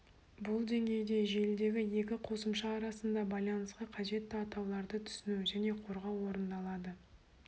бұл деңгейде желідегі екі қосымша арасында байланысқа қажетті атауларды түсіну және қорғау орындалады